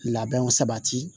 Labɛnw sabati